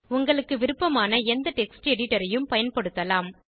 உங்களுக்கு விருப்பமான எந்த டெக்ஸ்ட் எடிட்டர் ஐயும் பயன்படுத்தலாம்